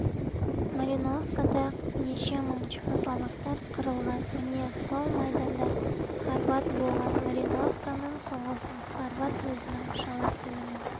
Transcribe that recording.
марьяновкада неше мың чехословактар қырылған міне сол майданда хорват болған марьяновканың соғысын хорват өзінің шала тілімен